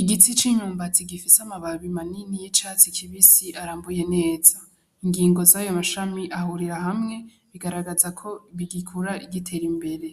igiti c'imyumbati gifise ama babi manini y'icatsi kibisi aranbuye neza ,Ingingo zayo mashami ahurira hamwe bigaragaza ko bigikura bitera imbere,